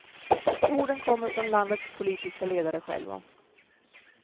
Orden kommer från landets politiska ledare själva.